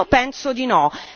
Io penso di no!